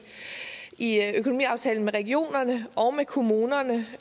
i økonomiaftalen med regionerne og med kommunerne